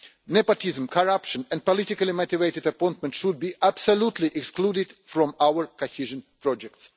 Nepotism, corruption and politically motivated appointments should be absolutely excluded from our cohesion projects.